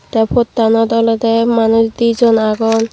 tey pottanot olodey manuj di jon agon.